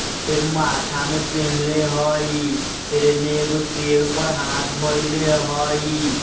फिर माथा मे पहनले हई फिर एनए एक शेर पे हाथ ढोलाय हई।